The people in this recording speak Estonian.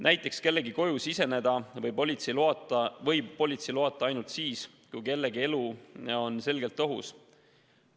Näiteks kellegi koju võib politsei ilma loata siseneda ainult siis, kui kellegi elu on selgelt ohus.